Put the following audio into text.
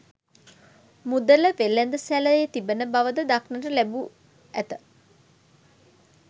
මුදල වෙළද සැලේ තිබෙන බවද දක්නට ලැබු ඇත.